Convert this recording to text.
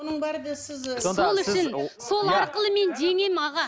сол арқылы мен жеңемін аға